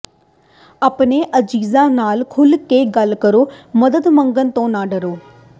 ਆਪਣੇ ਅਜ਼ੀਜ਼ਾਂ ਨਾਲ ਖੁੱਲ੍ਹ ਕੇ ਗੱਲ ਕਰੋ ਮਦਦ ਮੰਗਣ ਤੋਂ ਨਾ ਡਰੋ